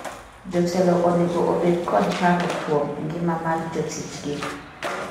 Jotelo onego obed kod paro kuom ngima mar jotichgi.